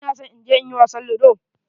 Ina son in je in yi wasan ludo.